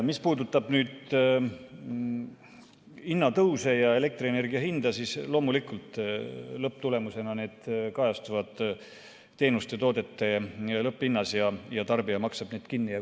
Mis puudutab hinnatõuse ja elektrienergia hinda, siis loomulikult need lõpptulemusena kajastuvad teenuste ja toodete lõpphinnas ning tarbija maksab need kinni.